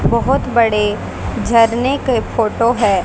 बहोत बड़े झरने के फोटो है।